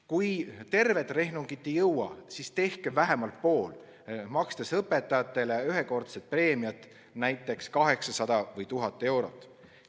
Kui tervet rehnungit ei jõua, siis tehke vähemalt pool, makstes õpetajatele ühekordset preemiat, näiteks 800 või 1000 eurot.